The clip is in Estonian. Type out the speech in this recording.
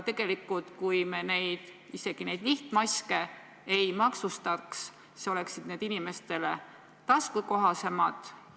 Tegelikult isegi siis, kui me neid lihtmaske ei maksustaks, oleksid need inimestele taskukohasemad.